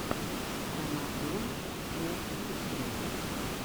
парамаунтмувисру